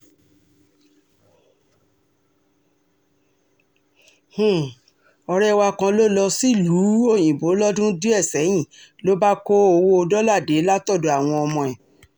um ọ̀rẹ́ wa kan ló lọ sílùú um òyìnbó lọ́dún díẹ̀ sẹ́yìn ló bá kó owó dọ́là dé látọ̀dọ̀ àwọn ọmọ ẹ̀